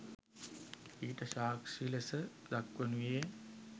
ඊට සාක්‍ෂි ලෙස දක්වනුයේ